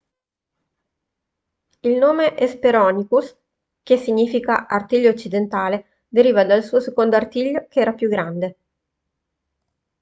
il nome hesperonychus che significa artiglio occidentale deriva dal suo secondo artiglio che era più grande